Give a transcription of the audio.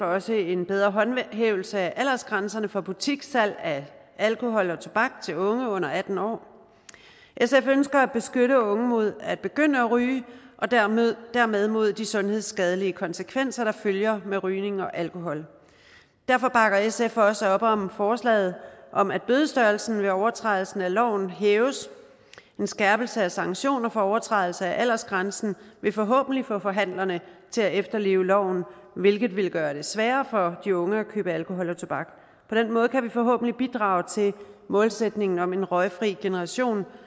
også en bedre håndhævelse af aldersgrænserne for butikssalg af alkohol og tobak til unge under atten år sf ønsker at beskytte unge mod at begynde at ryge og dermed dermed mod de sundhedsskadelige konsekvenser der følger med rygning og alkohol derfor bakker sf også op om forslaget om at bødestørrelsen ved overtrædelse af loven hæves en skærpelse af sanktioner for overtrædelse af aldersgrænsen vil forhåbentlig få forhandlerne til at efterleve loven hvilket vil gøre det sværere for de unge at købe alkohol og tobak på den måde kan vi forhåbentlig bidrage til målsætningen om en røgfri generation